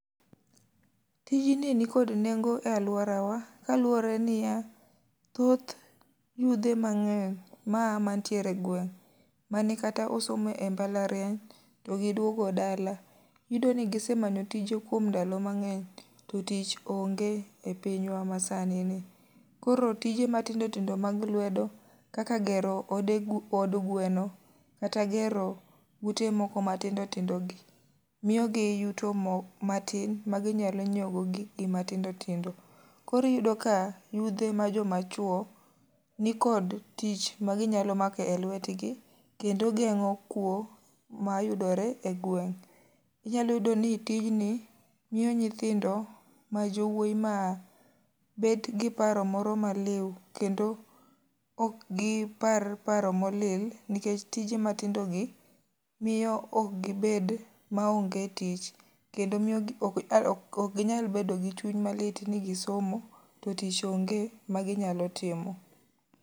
Tijni ni kod nengo e alworawa, kaluwore niya, thoth yudhe ma mangény maa mantiere e gweng' mane kata osome e mbalariany to giduogo dala. Iyudo ni gisemanyo tije kuom ndalo mangény to tich onge e pinywa masani ni. Koro tije matindo tindo mag lwedo, kaka gero od gweno kata gero ute moko matindo tindo gi, miyo gi yuto mo matin, ma ginyalo nyiewo godo gik gi matindo tindo. Koro iyudo ka yudhe ma joma chwo, nikod tich ma ginyalo mako e lwetgi. Kendo gengó kwo mayudore e gweng. Inyalo yudo ni tijni miyo nyithindo ma jowoi, ma bet gi paro moro ma liu, kendo ok gi par paro molil nikech tije matindogi miyo ok gibed maonge tich. Kendo miyogi ok ginyal bedo gi chuny malit ni gisomo to tich onge ma ginyalo timo.